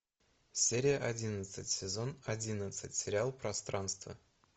серия одиннадцать сезон одиннадцать сериал пространство